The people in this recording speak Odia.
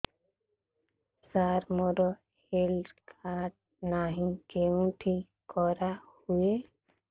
ସାର ମୋର ହେଲ୍ଥ କାର୍ଡ ନାହିଁ କେଉଁଠି କରା ହୁଏ